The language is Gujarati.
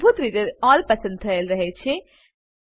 મૂળભૂત રીતે અલ્લ પસંદ થયેલ રહે છે